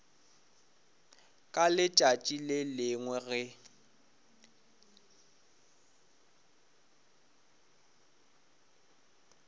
ka letšatši le lengwe ge